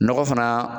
Nɔgɔ fana